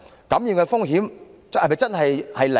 感染風險是否真的是零？